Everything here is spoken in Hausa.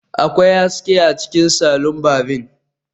Akwai haske a cikin salon barbing